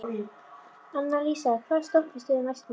Annalísa, hvaða stoppistöð er næst mér?